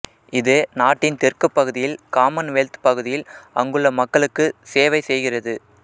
இது நாட்டின் தெற்குப் பகுதியில் காமன்வெல்த் பகுதியில் அங்குள்ள மக்களுக்கு செவைசெய்கிறது